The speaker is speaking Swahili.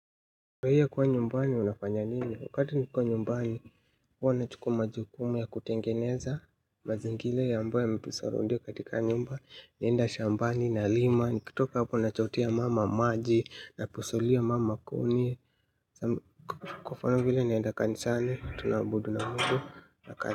Kwa hiyo kuwa nyumbani unafanya nini? Wakati nikiwa nyumbani, huwa na chukua majukumu ya kutengeneza mazingira ambayo yametu soround katika nyumba. Naenda shambani nalima, nikitoka hapo nachotea mama maji, napasulia mama kuni kwa mfano vile nienda kanisani, tunaabudu na mudu.